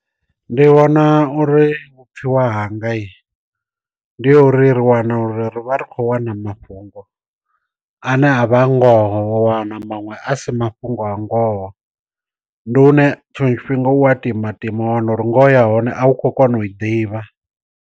Ndi vhona uri vhupfiwa hangai, ndi ha uri ri wana uri ri vha ri kho wana mafhungo ane a vha ngoho wana maṅwe a si mafhungo a ngoho. Ndi hune tshiṅwe tshifhinga u a timatima wa wana uri ngoho ya hone a u khou kona u i ḓivha.